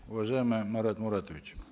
уважаемый марат муратович